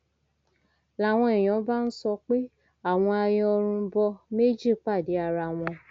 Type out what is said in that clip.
làwọn èèyàn bá ń sọ pé àwọn ayọrunbọ méjì pàdé ara wọn